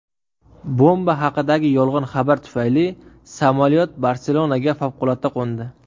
Bomba haqidagi yolg‘on xabar tufayli samolyot Barselonaga favqulodda qo‘ndi.